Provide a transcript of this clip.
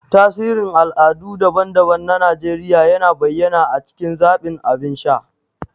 Tasirin al'adu daban-daban na Najeriya yana bayyana a cikin zaɓin abin sha.